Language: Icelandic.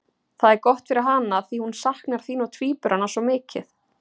Það er gott fyrir hana því hún saknar þín og tvíburanna svo mikið.